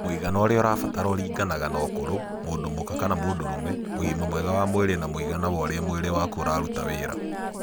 Mũigana ũrĩa ũrabatara ũringanaga na ũkũrũ, mũndũ mũka kana mũndũrũme, ũgima mwega wa mwĩrĩ na mũigana wa ũrĩa mwĩrĩ wakũ ũraruta wĩra.